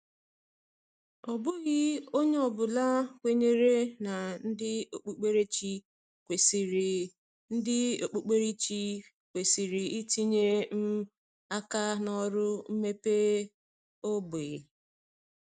Ọ bụghị onye ọ bụla kwenyere na ndị okpukperechi kwesịrị ndị okpukperechi kwesịrị itinye um aka na ọrụ mmepe ógbè.